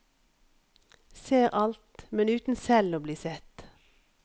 Ser alt, men uten selv å bli sett.